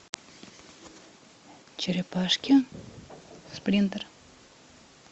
черепашки спринтер